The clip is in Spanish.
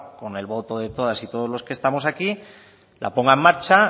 con el voto de todas y todos los que estamos aquí la ponga en marcha